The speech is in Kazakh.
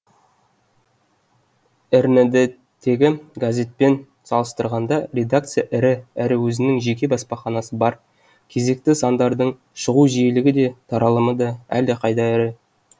эрдэнэттегі газетпен салыстырғанда редакция ірі әрі өзінің жеке баспаханасы бар кезекті сандардың шығу жиілігі де таралымы да әлдеқайда ірі